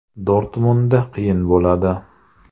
Dortmundda qiyin bo‘ladi.